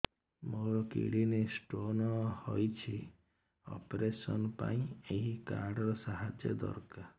ମୋର kidney stone ହଇଛି operation ପାଇଁ ଏହି କାର୍ଡ ର ସାହାଯ୍ୟ ଦରକାର